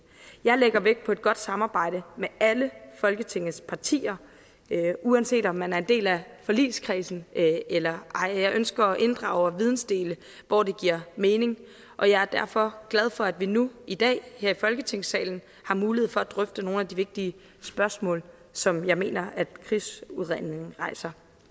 jeg lægger vægt på et godt samarbejde med alle folketingets partier uanset om man er en del af forligskredsen eller ej jeg ønsker at inddrage og vidensdele hvor det giver mening og jeg er derfor glad for at vi nu i dag her i folketingssalen har mulighed for at drøfte nogle af de vigtige spørgsmål som jeg mener at krigsudredningen rejser